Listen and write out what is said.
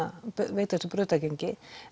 veita þessu brautargengi